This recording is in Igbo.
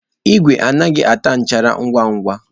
Igwe anaghị ata nchara ngwa ngwa.